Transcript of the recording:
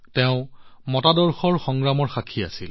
তেওঁ মতাদৰ্শৰ সংগ্ৰামৰ সাক্ষী আছিল